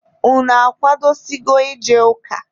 Unu akwadosigo ije ụka?